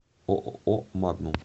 ооо магнум